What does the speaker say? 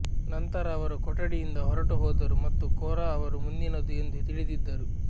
ನಂತರ ಅವರು ಕೊಠಡಿಯಿಂದ ಹೊರಟುಹೋದರು ಮತ್ತು ಕೋರಾ ಅವರು ಮುಂದಿನದು ಎಂದು ತಿಳಿದಿದ್ದರು